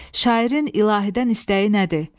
Şairin ilahidən istəyi nədir?